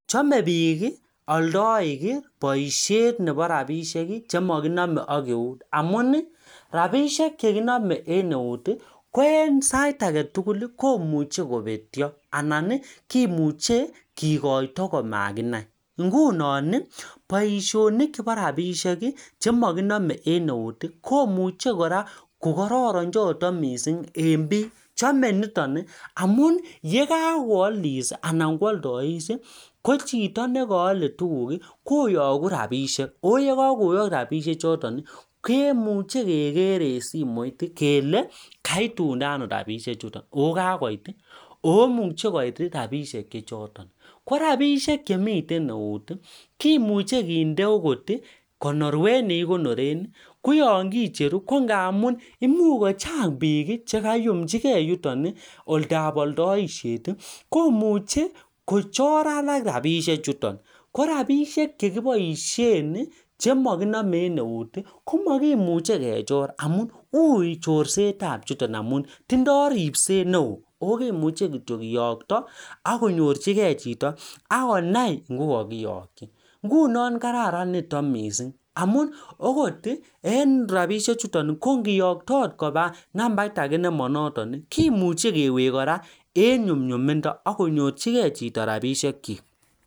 Amuu rabishek chekinamee eng eut komuchi kobetyo anan kimuche kikotyo amakinai